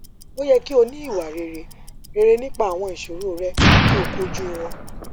o yẹ ki o ni iwa rere rere nipa awọn iṣoro rẹ ki o koju wọn